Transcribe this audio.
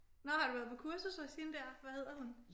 Nå har du været på kursus hos hende der hvad hedder hun?